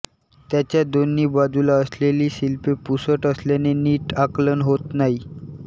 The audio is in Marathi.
त्याच्या दोन्ही बाजूला असलेली शिल्पे पुसट असल्याने नीट आकलन होत नाही